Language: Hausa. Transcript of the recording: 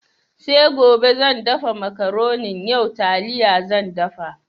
Sai gobe zan dafa Makaronin, yau taliya zan dafa.